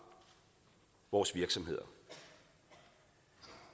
vores virksomheder